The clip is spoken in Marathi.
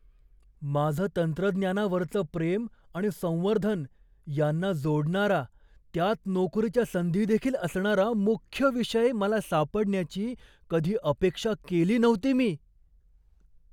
माझं तंत्रज्ञानावरचं प्रेम आणि संवर्धन यांना जोडणारा, त्यात नोकरीच्या संधी देखील असणारा मुख्य विषय मला सापडण्याची कधी अपेक्षा केली नव्हती मी!